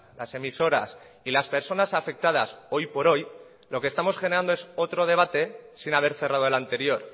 las emisoras y las personas afectadas hoy por hoy lo que estamos generando es otro debate sin haber cerrado el anterior